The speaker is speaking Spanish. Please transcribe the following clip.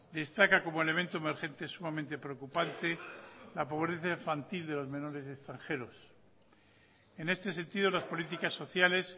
destaca como elemento emergente sumamente preocupante la pobreza infantil de los menores extranjeros en este sentido las políticas sociales